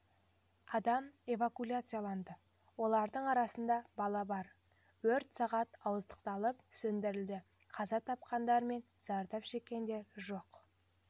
адам эвакуцияланды олардың арасында бала бар өрт сағат ауыздықталып сөндірілді қаза тапқандар мен зардап шеккендер жоқ